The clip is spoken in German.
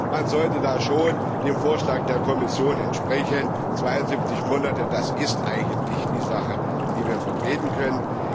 Man sollte da schon dem Vorschlag der Kommission entsprechen 72 Monate, das ist eine Sache, die wir vertreten können.